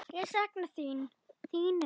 Ég sakna þín, þín Regína.